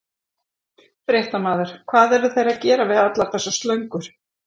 Fréttamaður: Hvað eru þeir að gera við allar þessar slöngur?